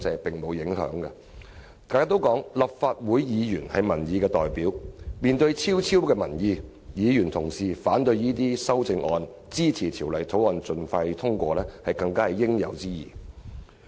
大家都說立法會議員是民意代表，面對昭昭民意，議員反對這些修正案，支持《條例草案》盡快通過，實屬應有之義。